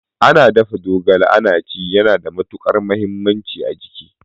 Ana dafa zogala ana ci yana da matukar muhimmanci a jiki